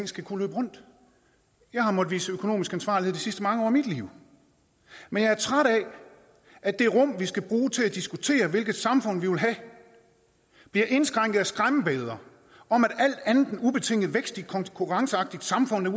skal kunne løbe rundt jeg har måttet vise økonomisk ansvarlighed de sidste mange år af mit liv men jeg er træt af at det rum vi skal bruge til at diskutere hvilket samfund vi vil have bliver indskrænket af skræmmebilleder om at alt andet end ubetinget vækst i et konkurrenceaktivt samfund er